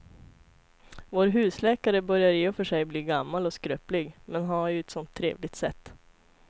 Vår husläkare börjar i och för sig bli gammal och skröplig, men han har ju ett sådant trevligt sätt!